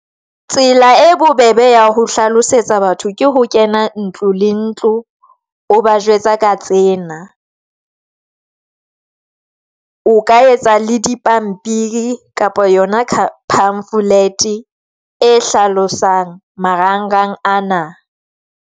Tsela e bobebe ya ho hlalosetsa batho ke ho kena ntlo le ntlo. O ba jwetsa ka tsena, o ka etsa le dipampiri kapa yona pamphlet e hlalosang marangrang ana.